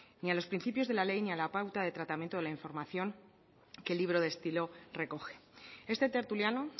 ni a los principios de la ley ni a la pauta de tratamiento de la información que el libro de estilo recoge este tertuliano